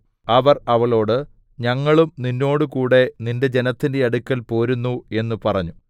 അവർ അവളോടു ഞങ്ങളും നിന്നോടുകൂടെ നിന്റെ ജനത്തിന്റെ അടുക്കൽ പോരുന്നു എന്നു പറഞ്ഞു